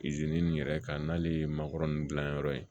nin yɛrɛ kan n'ale ye mankɔrɔn gilanyɔrɔ ye